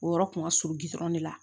O yɔrɔ kun ka surun ne la